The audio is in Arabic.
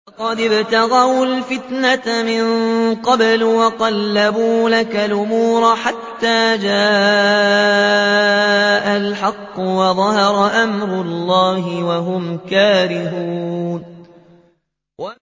لَقَدِ ابْتَغَوُا الْفِتْنَةَ مِن قَبْلُ وَقَلَّبُوا لَكَ الْأُمُورَ حَتَّىٰ جَاءَ الْحَقُّ وَظَهَرَ أَمْرُ اللَّهِ وَهُمْ كَارِهُونَ